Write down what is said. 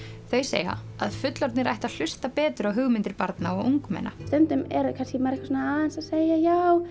þau segja að fullorðnir ættu að hlusta betur á hugmyndir barna og ungmenna stundum er maður aðeins að segja já